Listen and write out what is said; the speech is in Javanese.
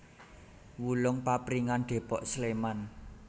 Wulung Papringan Depok Sleman